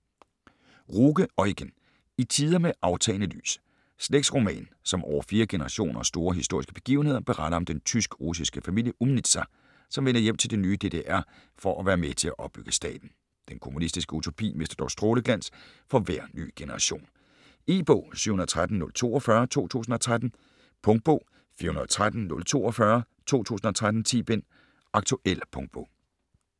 Ruge, Eugen: I tider med aftagende lys Slægtsroman, som over fire generationer og store historiske begivenheder beretter om den tysk-russiske familie Umnitzer, som vender hjem til det nye DDR for at være med til at opbygge staten. Den kommunistiske utopi mister dog stråleglans for hver ny generation. E-bog 713042 2013. Punktbog 413042 2013. 10 bind. Aktuel punktbog